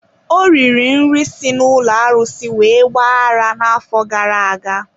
Ọ riri nri si n'ụlọ arụsị wee gba ara n'afọ gara aga.